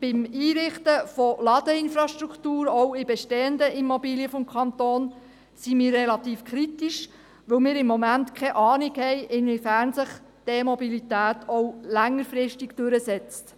Bezüglich des Einrichtens der Ladeinfrastruktur, auch in bestehenden Immobilien des Kantons, sind wir relativ kritisch, da wir momentan keine Ahnung haben, inwiefern sich die E-Mobilität auch längerfristig durchsetzen